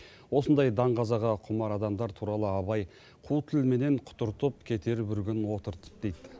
осындай даңғазаға құмар адамдар туралы абай қу тілменен құтыртып кетер бір күн отыртып дейді